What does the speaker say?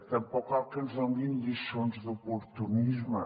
tampoc cal que ens donin lliçons d’oportunisme